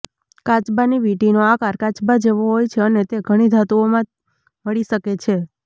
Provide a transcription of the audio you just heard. કાચબાની વીંટીનો આકાર કાચબા જેવો હોય છે અને તે ઘણી ધાતુઓમાં મળી શકે છે